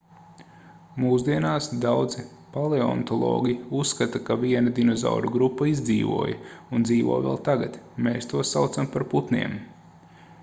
mūsdienās daudzi paleontologi uzskata ka viena dinozauru grupa izdzīvoja un dzīvo vēl tagad mēs tos saucam par putniem